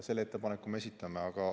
Selle ettepaneku me esitame.